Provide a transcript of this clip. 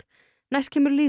næst kemur